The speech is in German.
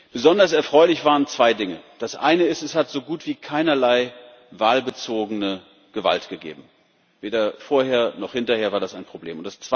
Besonders erfreulich waren zwei Dinge Das eine ist Es hat so gut wie keinerlei wahlbezogene Gewalt gegeben weder vorher noch hinterher war das ein Problem.